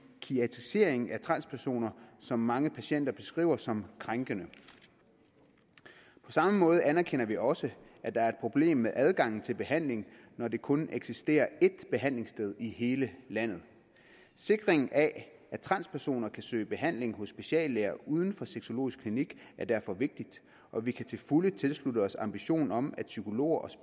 psykiatriseringen at transpersoner som mange patienter beskriver som krænkende på samme måde anerkender vi også at der er et problem med adgangen til behandling når der kun eksisterer et behandlingssted i hele landet sikring af at transpersoner kan søge behandling hos speciallæger uden for sexologisk klinik er derfor vigtig og vi kan til fulde tilslutte os ambitionen om at psykologer og